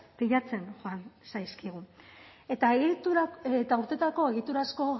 pilatzen joan zaizkigu eta urteetako egiturazko